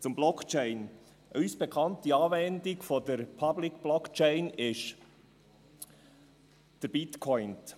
Zur Blockchain: Die uns bekannte Anwendung der Public-Blockchain ist der Bitcoin.